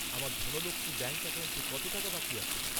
আমার ধনলক্ষ্মী ব্যাঙ্ক অ্যাকাউন্টে কত টাকা বাকি আছে?